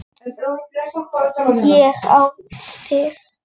Ég á þig.